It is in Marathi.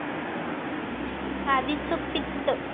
आधीचं पित्त